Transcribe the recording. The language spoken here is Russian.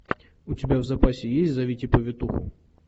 у тебя в запасе есть зовите повитуху